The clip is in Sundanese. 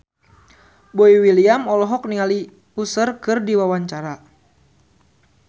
Boy William olohok ningali Usher keur diwawancara